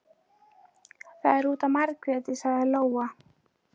Það er út af Margréti, sagði Lóa.